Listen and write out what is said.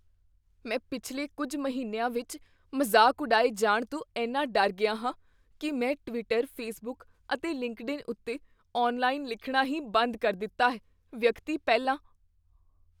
ਮੈਂ ਪਿਛਲੇ ਕੁੱਝ ਮਹੀਨਿਆਂ ਵਿੱਚ ਮਜ਼ਾਕ ਉਡਾਏ ਜਾਣ ਤੋਂ ਇੰਨਾ ਡਰ ਗਿਆ ਹਾਂ ਕੀ ਮੈਂ ਟਵਿੱਟਰ, ਫੇਸਬੁੱਕ ਅਤੇ ਲਿੰਕਡਇਨ ਉੱਤੇ ਔਨਲਾਈਨ ਲਿਖਣਾ ਹੀ ਬੰਦ ਕਰ ਦਿੱਤਾ ਹੈ ਵਿਅਕਤੀ ਪਹਿਲਾ